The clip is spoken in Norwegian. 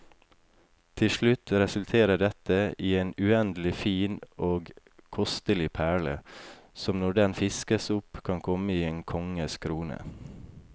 Til slutt resulterer dette i en uendelig fin og kostelig perle, som når den fiskes opp kan komme i en konges krone.